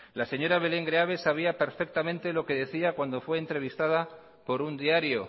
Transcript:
la señora belén greaves sabía perfectamente lo que decía cuando fue entrevistada por un diario